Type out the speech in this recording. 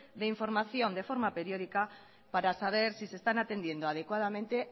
de información de forma periódica para saber si se están atendiendo adecuadamente